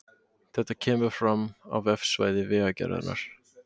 Þetta kemur fram á vefsvæði Vegagerðarinnar